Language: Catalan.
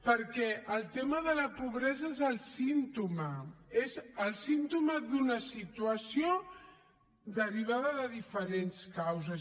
perquè el tema de la pobresa és el símptoma és el símptoma d’una situació derivada de diferents causes